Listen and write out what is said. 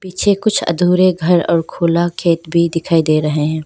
पीछे कुछ अधूरे घर और खुला खेत भी दिखाई दे रहे हैं।